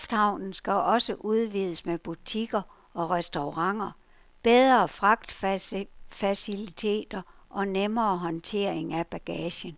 Lufthavnen skal også udvides med butikker og restauranter, bedre fragtfaciliteter og nemmere håndtering af bagagen.